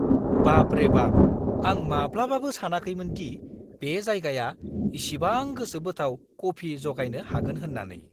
बाबरे बाब! आं माब्लाबाबो सानाखैमोनदि बे जायगाया इसिबां गोसोबोथाव कफि जगायनो हागोन होन्नानै।